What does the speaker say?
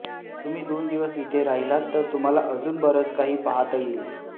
तुम्ही दोन दिवस इथे राहिलात तर तुम्हाला अजून बरच काही पाहता येईल